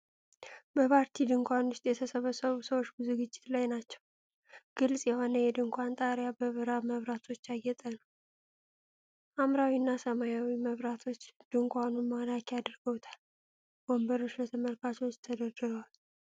በፓርቲ ድንኳን ውስጥ የተሰበሰቡ ሰዎች በዝግጅት ላይ ናቸው። ግልጽ የሆነው የድንኳኑ ጣሪያ በብርሃን መብራቶች ያጌጠ ነው። ሐምራዊ እና ሰማያዊ መብራቶች ድንኳኑን ማራኪ አድርገውታል። ወንበሮች ለተመልካቾች ተደርድረዋል።